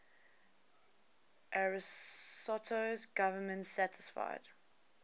ariosto's government satisfied